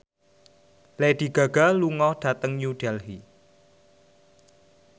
Lady Gaga lunga dhateng New Delhi